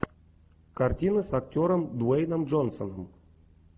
картина с актером дуэйном джонсоном